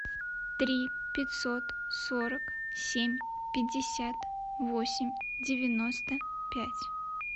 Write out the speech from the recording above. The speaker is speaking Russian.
три пятьсот сорок семь пятьдесят восемь девяносто пять